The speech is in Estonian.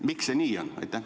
Miks see nii on?